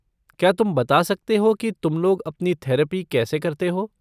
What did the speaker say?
क्या तुम बता सकते हो कि तुम लोग अपनी थेरपी कैसे करते हो?